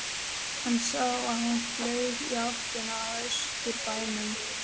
Hann sá að hún flaug í áttina að Austurbænum.